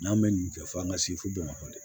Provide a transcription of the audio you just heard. N'an bɛ nin kɛ f'an ka se fo bamakɔ de